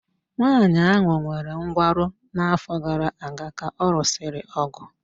Nwaanyị ahụ nwere nkwarụ n'afọ gara aga ka ọ lụsịrị ọgụ